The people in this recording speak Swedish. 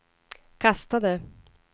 kastade